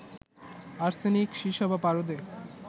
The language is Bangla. আর্সেনিক, সীসা বা পারদে